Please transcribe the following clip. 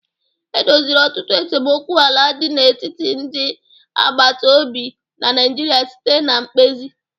E doziri ọtụtụ esemokwu ala dị n'etiti ndị agbata obi na Naịjirịa site na mkpezi.